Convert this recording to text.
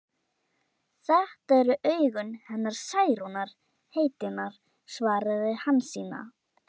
Þetta eru augun hennar Særúnar heitinnar, svaraði Hansína.